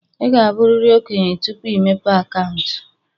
Ị ga-abụrịrị okenye tupu ịmepe akaụntụ.